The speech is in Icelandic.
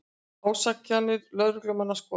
Ásakanir lögreglumanna skoðaðar